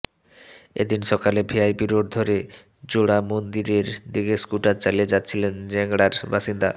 এ দিন সকালে VIP road ধরে জোড়ামন্দিরের দিকে স্কুটার চালিয়ে যাচ্ছিলেন জ্যাংড়ার বাসিন্দা